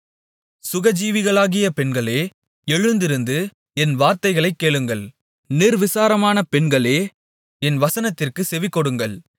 சுகஜீவிகளாகிய பெண்களே எழுந்திருந்து என் வார்த்தைகளைக் கேளுங்கள் நிர்விசாரமான பெண்களே என் வசனத்திற்குச் செவிகொடுங்கள்